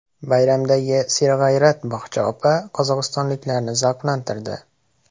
Bayramdagi serg‘ayrat bog‘cha opa qozog‘istonliklarni zavqlantirdi .